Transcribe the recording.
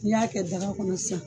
N' y'a kɛ daga kɔnɔ sisan.